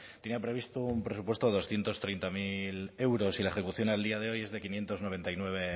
tenía previsto un presupuesto de doscientos treinta mil euros y la ejecución al día de hoy es de quinientos noventa y nueve